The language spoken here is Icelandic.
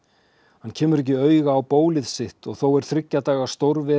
hann kemur ekki auga á bólið sitt og þó er þriggja daga